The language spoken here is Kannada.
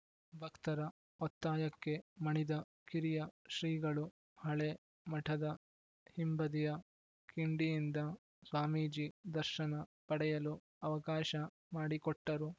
ಭಕ್ತರ ಒತ್ತಾಯಕ್ಕೆ ಮಣಿದ ಕಿರಿಯ ಶ್ರೀಗಳು ಹಳೆ ಮಠದ ಹಿಂಬದಿಯ ಕಿಂಡಿಯಿಂದ ಸ್ವಾಮೀಜಿ ದರ್ಶನ ಪಡೆಯಲು ಅವಕಾಶ ಮಾಡಿಕೊಟ್ಟರು